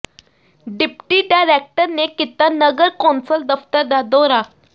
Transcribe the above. deputy director ਨੇ ਕੀਤਾ ਨਗਰ ਕੌਂਸਲ ਦਫ਼ਤਰ ਦਾ ਦੌਰਾ